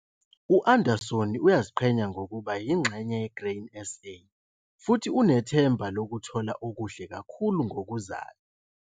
U-Andersoni uyaziqhenya ngokuba yingxenye ye-Grain SA futhi unethemba lokuthola okuhle kakhulu ngokuzayo.